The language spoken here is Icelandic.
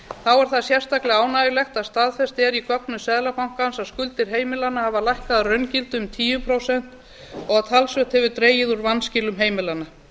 þá er það sérstaklega ánægjulegt að staðfest er í gögnum seðlabankans að skuldir heimilanna hafa lækkað að raungildi um tíu prósent og talsvert hefur dregið úr vanskilum heimilanna